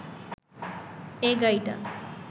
এই গাড়িটা